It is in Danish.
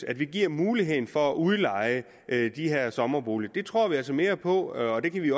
at vi giver mulighed for at udleje sommerboliger det tror vi altså mere på og vi